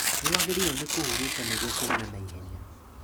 Nĩwagĩrĩirwo nĩ kũhurũka nĩguo kũhona na ihenya